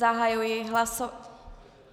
Zahajuji hlasování...